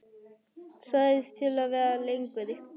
Sagðist til í að vera lengur.